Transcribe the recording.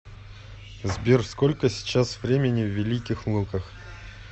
сбер сколько сейчас времени в великих луках